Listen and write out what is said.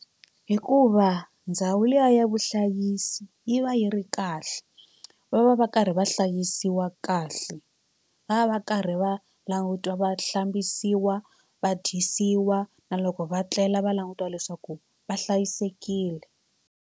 Hikuva ndhawu liya ya vuhlayisi yi va yi ri kahle va va va karhi va hlayisiwa kahle va va va karhi va langutiwa va hlambisiwa va dyisiwa na loko va tlela va langutiwa leswaku va hlayisekile.